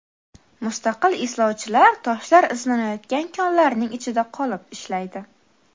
Mustaqil izlovchilar toshlar izlanayotgan konlarning ichida qolib ishlaydi.